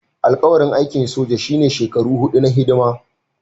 Alƙawarin aikin soja shine shekaru huɗu na hidima